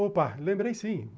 Opa, lembrei sim.